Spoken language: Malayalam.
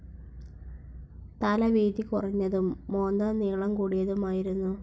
തല വീതി കുറഞ്ഞതും മോന്ത നീളം കൂടിയതുമായിരുന്നു.